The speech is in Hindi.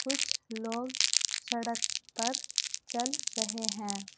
कुछ लोग सड़क पर चल रहे हैं।